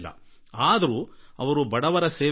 ಆದರೆ ಅವರು ತಮ್ಮ ಜೀವನ ಮುಡುಪಾಗಿ ಇಟ್ಟರು